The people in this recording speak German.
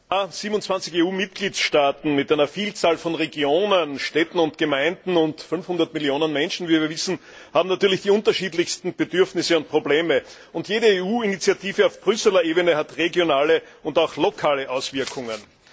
Herr Präsident! 27 EU Mitgliedstaaten mit einer Vielzahl von Regionen, Städten und Gemeinden und 500 Millionen Menschen, wie wir wissen, haben natürlich die unterschiedlichsten Bedürfnisse und Probleme, und jede EU Initiative auf Brüsseler Ebene hat regionale und auch lokale Auswirkungen.